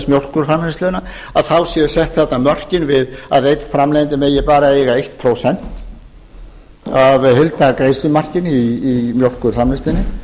mjólkurframleiðsluna að þá séu sett mörkin við að einn framleiðandi megi bara eiga eitt prósent af heildargreiðslumarki í mjólkurframleiðslunni